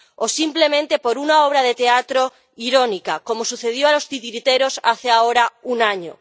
o, simplemente, por una obra de teatro irónica, como sucedió a los titiriteros hace ahora un año.